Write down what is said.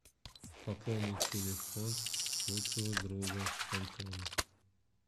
пополнить телефон лучшего друга антона